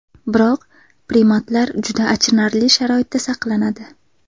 Biroq primatlar juda achinarli sharoitda saqlanadi.